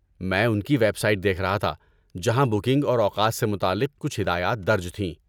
میں ان کی ویب سائٹ دیکھ رہا تھا، جہاں بکنگ اور اوقات سے متعلق کچھ ہدایات درج تھیں۔